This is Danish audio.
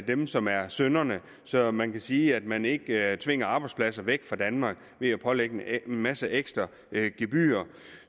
dem som er synderne så man kan sige at man ikke tvinger arbejdspladser væk fra danmark ved at pålægge en masse ekstra gebyrer